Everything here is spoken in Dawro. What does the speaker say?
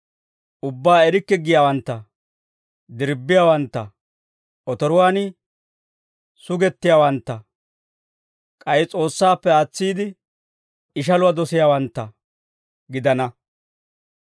ubbaa erikke giyaawantta, dirbbiyaawantta, otoruwaan sugettiyaawantta, k'ay S'oossaappe aatsiide, ishaluwaa dosiyaawantta gidana.